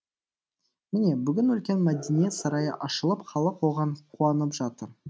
міне бүгін үлкен мәдениет сарайы ашылып халық оған қуанып жатыр